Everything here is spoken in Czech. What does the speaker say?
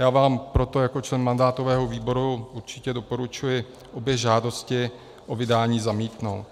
Já vám proto jako člen mandátového výboru určitě doporučuji obě žádosti o vydání zamítnout.